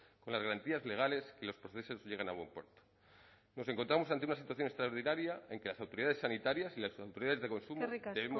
con las garantías legales y los procesos lleguen a buen puerto nos encontramos ante una situación extraordinaria en que las autoridades sanitarias y las autoridades de consumo debemos seguir extremando el